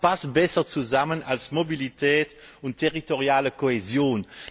Und was passt besser zusammen als Mobilität und territoriale Kohäsion?